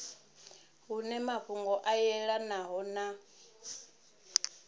hune mafhungo a yelanaho na